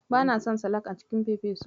Bana son salak a cikin fefesu.